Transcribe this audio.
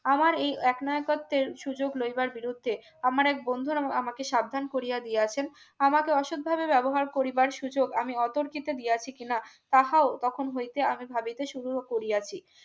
আমার এই একনায়কত্বের সুযোগ লইবার বিরুদ্ধে আমার এক বন্ধুর আমাকে সাবধান করিয়া দিয়াছেন আমাকে অসৎভাবে ব্যবহার করিবার সুযোগ আমি অতর্কিতে দিয়া আছি কিনা তাহাও তখন হইতে আমি ভাবিতে শুরু করিয়াছি